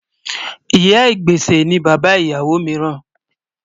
Ìyà-ìgbésẹ̀ ni bàbá ìyáwó míìràn